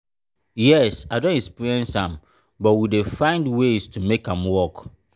yes i don experience am but we dey find ways to make am work.